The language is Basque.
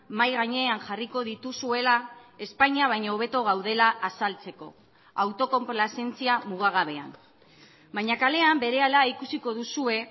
mahai gainean jarriko dituzuela espainia baino hobeto gaudela azaltzeko autokonplazentzia mugagabean baina kalean berehala ikusiko duzue